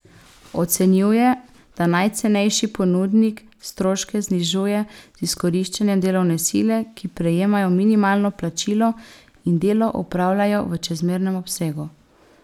Ocenjuje, da najcenejši ponudnik stroške znižuje z izkoriščanjem delovne sile, ki prejemajo minimalno plačilo in delo opravljajo v čezmernem obsegu.